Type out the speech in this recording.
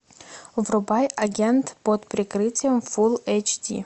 врубай агент под прикрытием фулл эйч ди